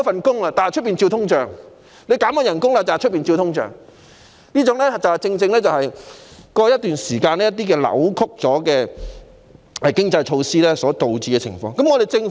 市民失業、被減薪，但可能卻要面對通脹，這正正是過去一段時間一些扭曲的經濟措施所導致的可能情況。